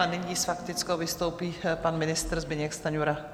A nyní s faktickou vystoupí pan ministr Zbyněk Stanjura.